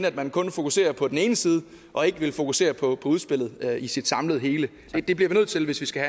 at man kun fokuserer på den ene side og ikke vil fokusere på udspillet i sit samlede hele det bliver vi nødt til hvis vi skal